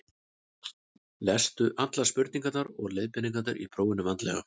lestu allar spurningar og leiðbeiningar í prófinu vandlega